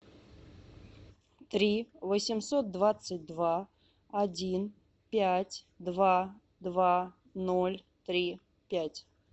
три восемьсот двадцать два один пять два два ноль три пять